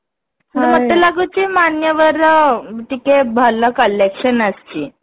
କିନ୍ତୁ ମତେ ଲାଗୁଛି ମାନ୍ୟବର ଟିକେ ଭଲ collection ଆସିଛି